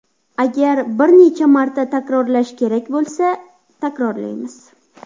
Agar bir necha marta takrorlash kerak bo‘lsa, takrorlaymiz.